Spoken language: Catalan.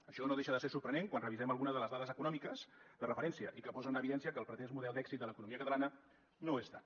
això no deixa de ser sorprenent quan revisem algunes de les dades econòmiques de referència i que posa en evidència que el pretès model d’èxit de l’economia catalana no ho és tant